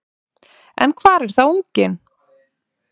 En hvar er þá unginn?